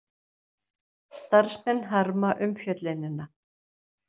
Starfsmenn harma umfjöllunina